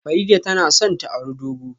Farida tana son ta auri dogo